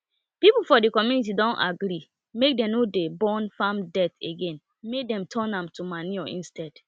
people for the community don agree make dem no burn farm dirt again make dem turn am to manure instead